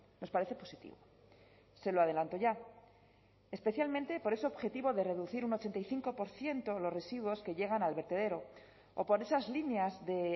nos parece positivo se lo adelanto ya especialmente por ese objetivo de reducir un ochenta y cinco por ciento los residuos que llegan al vertedero o por esas líneas de